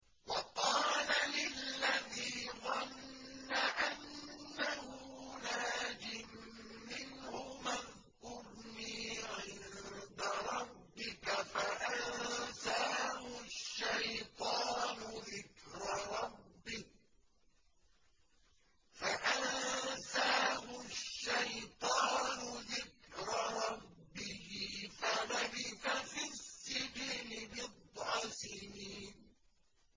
وَقَالَ لِلَّذِي ظَنَّ أَنَّهُ نَاجٍ مِّنْهُمَا اذْكُرْنِي عِندَ رَبِّكَ فَأَنسَاهُ الشَّيْطَانُ ذِكْرَ رَبِّهِ فَلَبِثَ فِي السِّجْنِ بِضْعَ سِنِينَ